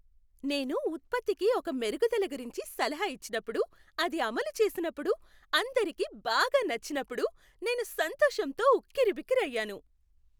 నేను ఉత్పత్తికి ఒక మెరుగుదల గురించి సలహా ఇచ్చినప్పుడు, అది అమలు చేసినప్పుడు, అందరికీ బాగా నచ్చినప్పుడు నేను సంతోషంతో ఉక్కిరిబిక్కిరి అయ్యాను.